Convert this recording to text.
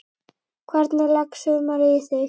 Hvernig leggst sumarið í þig?